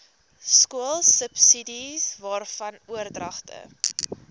skoolsubsidies waarvan oordragte